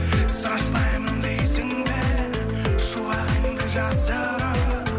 страшнаямын дейсің бе шуағыңды жасырып